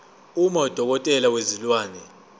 uma udokotela wezilwane